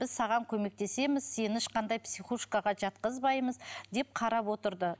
біз саған көмектесеміз сені ешқандай психушкаға жатқызбаймыз деп қарап отырды